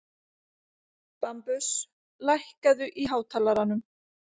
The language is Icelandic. Bambus, lækkaðu í hátalaranum.